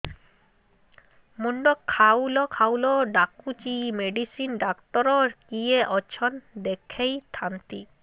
ମୁଣ୍ଡ ଖାଉଲ୍ ଖାଉଲ୍ ଡାକୁଚି ମେଡିସିନ ଡାକ୍ତର କିଏ ଅଛନ୍ ଦେଖେଇ ଥାନ୍ତି